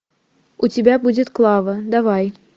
у тебя будет клава давай